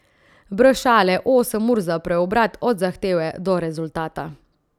Brez šale, osem ur za preobrat od zahteve do rezultata.